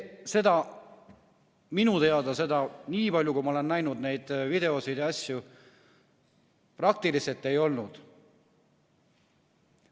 Seda minu teada, nii palju kui ma olen näinud neid videoid, praktiliselt ei olnud.